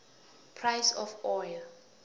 price of oil